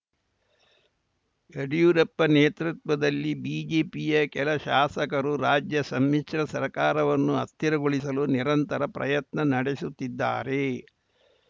ಯಡಿಯೂರಪ್ಪ ನೇತೃತ್ವದಲ್ಲಿ ಬಿಜೆಪಿಯ ಕೆಲ ಶಾಸಕರು ರಾಜ್ಯ ಸಮ್ಮಿಶ್ರ ಸರ್ಕಾರವನ್ನು ಅಸ್ಥಿರಗೊಳಿಸಲು ನಿರಂತರ ಪ್ರಯತ್ನ ನಡೆಸುತ್ತಿದ್ದಾರೆ